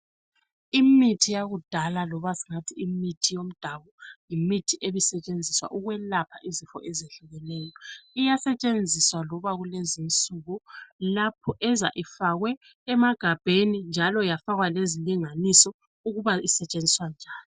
Imithi yakudala, loba singathi imithi yomdabu, yimithi ebisetshenziswa ukwelapha izifo ezehlukeneyo. Iyasetshenziswa loba kulezinsuku lapho eza ifakwe emagabheni njalo yafakwa lezilinganiso ukuba isetshenziswa njani.